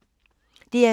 DR2